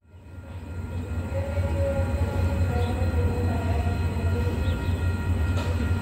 Idan dare ya yi, na fi jin daɗin rufe ƙofar ɗaki don jin tsit.